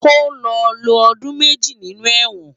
Kó lò ló òdún mèjí ninú èwòn